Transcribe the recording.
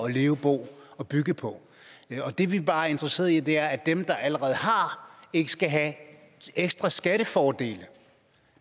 at leve bo og bygge på det vi bare er interesseret i er at dem der allerede har ikke skal have ekstra skattefordele